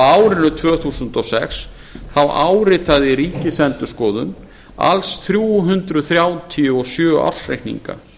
árinu tvö þúsund og sex þá áritaði ríkisendurskoðun alls þrjú hundruð þrjátíu og sjö ársreikninga